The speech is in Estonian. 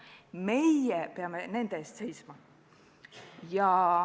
Meie peame nende eest seisma.